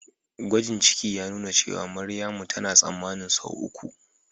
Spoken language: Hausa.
gwajin ciki ya nuna cewa Maryamu tana tsammanin sau uku